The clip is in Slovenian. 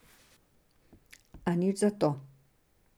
A nič zato.